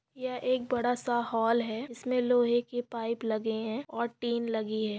यह एक बड़ासा हॉल है उसमे लोहे की पाईप लगे है और टीन लगी है।